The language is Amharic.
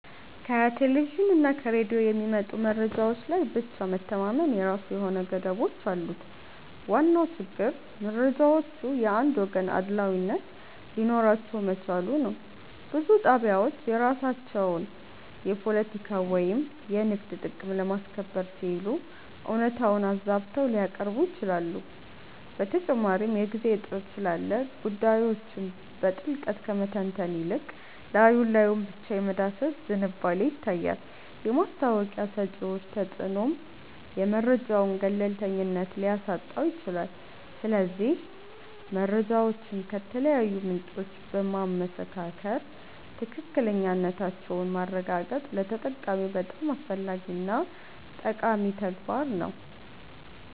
ከቴሌቪዥንና ከሬዲዮ የሚመጡ መረጃዎች ላይ ብቻ መተማመን የራሱ የሆኑ ገደቦች አሉት። ዋናው ችግር መረጃዎቹ የአንድ ወገን አድሏዊነት ሊኖራቸው መቻሉ ነው። ብዙ ጣቢያዎች የራሳቸውን የፖለቲካ ወይም የንግድ ጥቅም ለማስከበር ሲሉ እውነታውን አዛብተው ሊያቀርቡ ይችላሉ። በተጨማሪም የጊዜ እጥረት ስላለ ጉዳዮችን በጥልቀት ከመተንተን ይልቅ ላይ ላዩን ብቻ የመዳሰስ ዝንባሌ ይታያል። የማስታወቂያ ሰጪዎች ተጽዕኖም የመረጃውን ገለልተኝነት ሊያሳጣው ይችላል። ስለዚህ መረጃዎችን ከተለያዩ ምንጮች በማመሳከር ትክክለኛነታቸውን ማረጋገጥ ለተጠቃሚው በጣም አስፈላጊና ጠቃሚ ተግባር ነው